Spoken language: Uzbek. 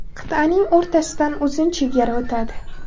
Qit’aning o‘rtasidan uzun chegara o‘tadi.